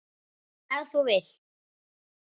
Ef til vill!